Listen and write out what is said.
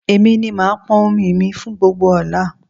Èmi ni màá pọn omi mi fún gbogbo ọ̀la